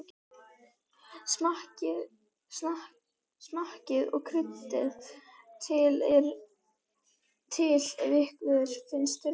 Smakkið og kryddið til ef ykkur finnst þurfa.